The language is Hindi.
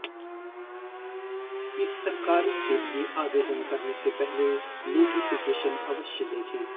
इस सरकारी के लिए आवदेन करने से पहले नोटिफिकेशन अवश्य देखे